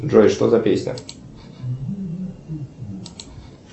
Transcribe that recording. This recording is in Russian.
джой что за песня